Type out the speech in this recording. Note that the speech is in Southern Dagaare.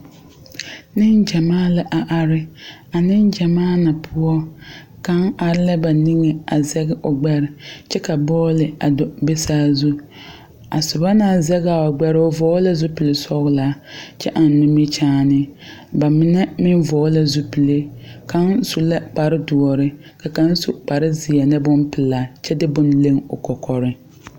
Negyamaa la a are. A negyamaa na poʊ, kang are la a ba niŋe a zeg o gbɛre kyɛ ka bɔli a do a be saazu. A suba na zege a o gbɛre, o vogle la zupul sɔglaa kyɛ eŋ nimikyaane. Ba mene meŋ vogle la zupule. Kang su la kpare duore, ka kang su kpare zie ne boŋ pulaa kyɛ de boŋ leŋ o kɔkɔreŋ